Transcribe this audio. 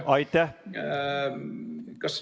Aitäh!